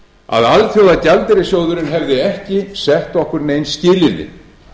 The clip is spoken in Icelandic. að alþjóðagjaldeyrissjóðurinn hefði ekki sett okkur nein skilyrði